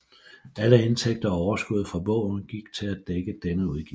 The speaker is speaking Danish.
Alle indtægter og overskud fra bogen gik til at dække denne udgift